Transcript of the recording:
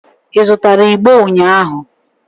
Ị zụtara igbo ụnyahụ?